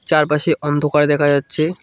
চারপাশে অন্ধকার দেখা যাচ্ছে।